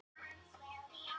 Undirlægjunum að kenna.